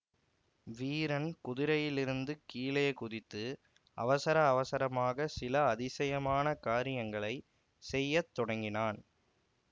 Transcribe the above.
வீரன் குதிரையிலிருந்து கீழே குதித்து அவசர அவசரமாக சில அதிசயமான காரியங்களை செய்ய தொடங்கினான்